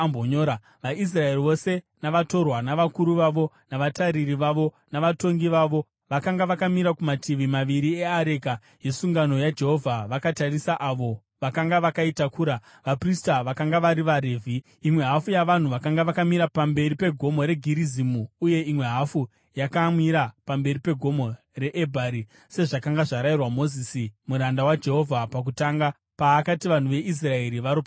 VaIsraeri vose navatorwa, navakuru vavo navatariri vavo, navatongi vavo, vakanga vakamira kumativi maviri eareka yesungano yaJehovha, vakatarisa avo vakanga vakaitakura, vaprista, vakanga vari vaRevhi. Imwe hafu yavanhu yakanga yakamira pamberi pegomo reGerizimu uye imwe hafu yakamira pamberi pegomo reEbhari, sezvakanga zvarayirwa naMozisi muranda waJehovha pakutanga paakati vanhu veIsraeri varopafadzwe.